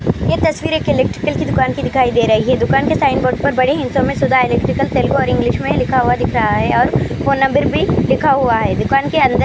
یہ تصویر ایک الیکٹریکل دکان کی دکھائی دے رہی هی دکان کے سائن بورڈ پر انگلش میں لکھا ہوا.